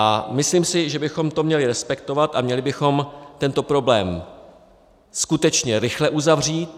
A myslím si, že bychom to měli respektovat a měli bychom tento problém skutečně rychle uzavřít.